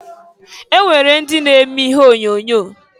E nwere ndị na-eme ihe onyoonyo.